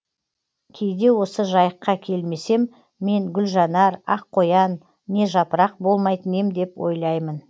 кейде осы жайыққа келмесем мен гүлжанар ақ қоян не жапырақ болмайтын ем деп ойлаймын